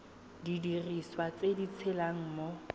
didiriswa tse di tshelang mo